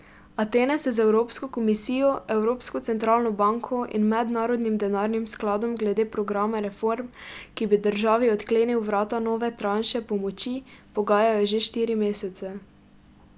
Atene se z Evropsko komisijo, Evropsko centralno banko in Mednarodnim denarnim skladom glede programa reform, ki bi državi odklenil vrata nove tranše pomoči, pogajajo že štiri mesece.